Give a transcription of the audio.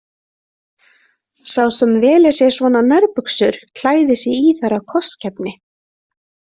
Sá sem velur sér svona nærbuxur klæðir sig í þær af kostgæfni.